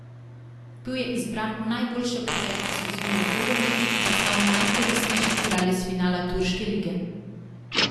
Bil je izbran v najboljšo peterko sezone v evroligi in postal najkoristnejši igralec finala turške lige.